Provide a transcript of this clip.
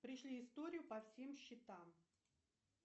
пришли историю по всем счетам